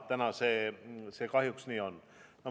Täna see kahjuks nii on.